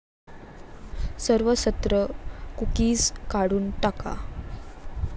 सर्व सत्र कुकीज काढून टाका